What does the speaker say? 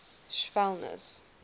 schwellnus